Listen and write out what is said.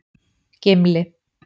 Gimli